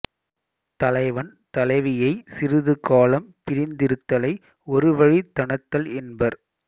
தலைவன் தலைவியைச் சிறிது காலம் பிரிந்திருத்தலை ஒருவழித் தணத்தல் என்பர்